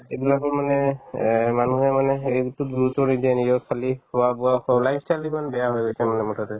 এইবিলাকো মানে এহ্ মানুহৰ মানে হেৰি নিজক খালী খোৱা-বোৱা life style তো দেখুন বেয়া হৈ গৈছে মানে মুঠতে